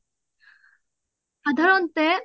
সাধাৰণতে